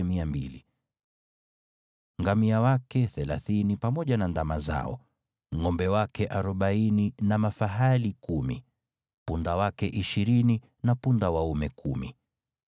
Ngamia wake thelathini pamoja na ndama zao, ngʼombe wake arobaini na mafahali kumi, punda wake ishirini na punda waume kumi.